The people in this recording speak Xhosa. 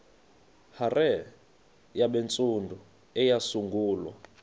hare yabantsundu eyasungulwa